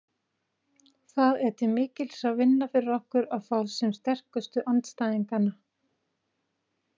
Það er til mikils að vinna fyrir okkur að fá sem sterkustu andstæðinganna.